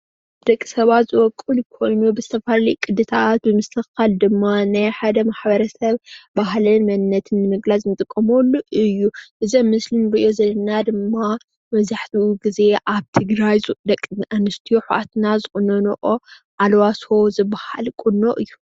ደቂ ሰባት ዝቦቁል ኾይኑ ብዝተፈላለዩ ቅድታት ዝቁነን ኣልባሶ ዝበሃል ቁኖ እዩ።